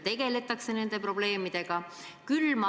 Õigemini probleemidega tegeletakse.